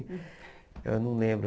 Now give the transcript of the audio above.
Eu não lembro.